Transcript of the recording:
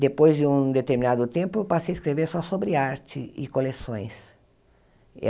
Depois de um determinado tempo, passei a escrever só sobre arte e coleções.